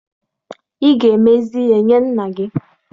Ị ga-emezi nna gị ihe!